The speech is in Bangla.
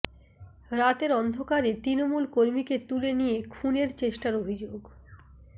রাতের অন্ধকারে তৃণমূল কর্মীকে তুলে নিয়ে খুনের চেষ্টার অভিযোগ